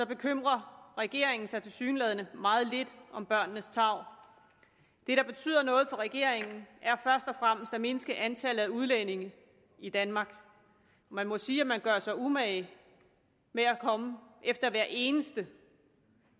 bekymrer regeringen sig tilsyneladende meget lidt om børnenes tarv det der betyder noget for regeringen er først og fremmest at mindske antallet af udlændinge i danmark man må sige at man gør sig umage med at komme efter hver eneste